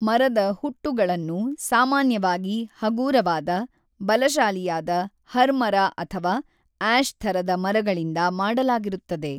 ಮರದ ಹುಟ್ಟುಗಳನ್ನು ಸಾಮಾನ್ಯವಾಗಿ ಹಗೂರವಾದ, ಬಲಶಾಲಿಯಾದ ಹರ್ಮರ ಅಥವಾ ಆ್ಯಶ್‌ ಥರದ ಮರಗಳಿಂದ ಮಾಡಲಾಗಿರುತ್ತದೆ.